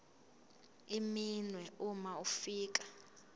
iminwe uma ufika